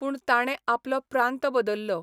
पूण ताणे आपलो प्रांत बदल्लो.